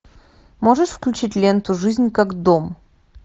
можешь включить ленту жизнь как дом